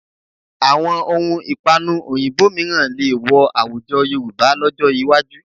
Àwọn ohun ìpanu òyìnbó mìíràn lè wọ àwùjọ Yorùbá lọ́jọ́ iwájú